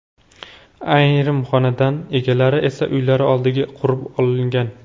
Ayrim xonadon egalari esa uylari oldiga qurib olgan.